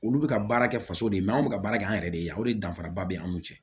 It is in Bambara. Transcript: Olu bɛ ka baara kɛ faso de ye mɛ anw bɛ ka baara kɛ an yɛrɛ de ye yan o de danfara ba bɛ an n'u cɛ